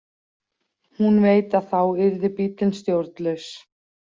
Hún veit að þá yrði bíllinn stjórnlaus.